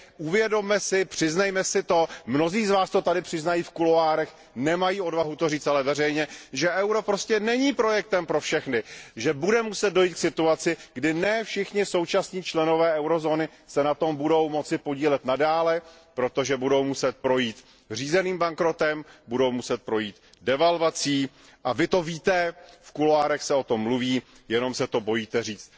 Uvědomme si to, přiznejme si to mnozí z vás to tady přiznají v kuloárech, nemají odvahu to říct ale veřejně že euro není projektem pro všechny, že bude muset dojít k situaci, kdy ne všichni současní členové eurozóny se na tomto projektu budou moci podílet i nadále, protože budou muset projít řízeným bankrotem, budou muset projít devalvací. A vy to víte, v kuloárech se o tom mluví, jenom se to bohužel bojíte říct